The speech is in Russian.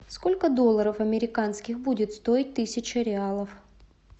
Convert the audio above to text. сколько долларов американских будет стоить тысяча реалов